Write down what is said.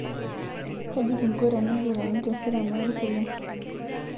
Kaji kingo tenikitoni teseriani olkulie?